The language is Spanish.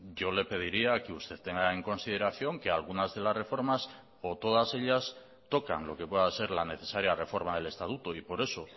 yo le pediría que usted tenga en consideración que algunas de las reformas o todas ellas tocan lo que pueda ser la necesaria reforma del estatuto y por eso